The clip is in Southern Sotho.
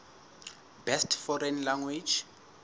best foreign language